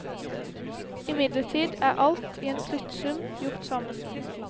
Imidlertid er alt, i en sluttsum, gjort sammen.